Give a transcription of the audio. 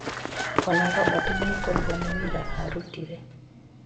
Ona Robert nĩekũrihwo nĩ wĩra arutire.